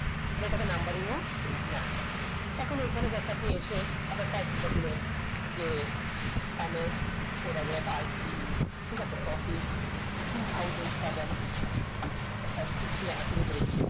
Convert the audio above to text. মানে এটাকে numbering হোক না এখন এখানে just আপনি এসে আবার এখন কার দিনে যে ঠিক আছে officetwo thousands seven দেখা শুনা করে দেয়